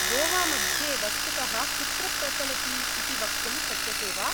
गोवामध्ये वस्तुतः कुत्र प्रचलति इति वक्तुं शक्यसे वा?